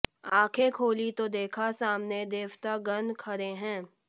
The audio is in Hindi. आखें खोली तो देखा सामने देवता गण खड़े हैं